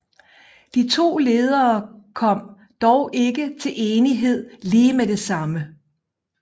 De to ledere kom dog ikke til enighed lige med det samme